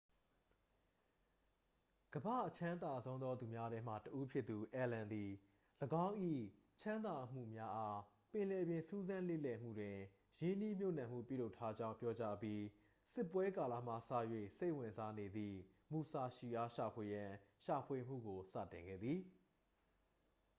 ကမ္ဘာ့အချမ်းသာဆုံးသောသူများထဲမှ တစ် ဦးဖြစ်သူ အယ်လန် သည် ၎င်း၏ ချမ်းသာမှုများအား ပင်လယ်ပြင်စူးစမ်းလေ့လာမှုတွင် ရင်းနှီးမြှပ်နှံမှု ပြုလုပ်ထားကြောင်း ပြောကြားအပြီး စစ်ပွဲကာလမှစ၍ စိတ်ဝင်စားနေသည့် မူဆာရှီ အား ရှာဖွေရန် ရှာဖွေမှုကိုစတင်ခဲ့သည်